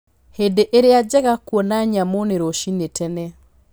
Hĩndĩ ĩrĩa njega ya kuona nyamũ nĩ rũcinĩ tene.